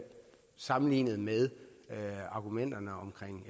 sammenlignet med argumenterne om